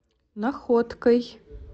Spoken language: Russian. находкой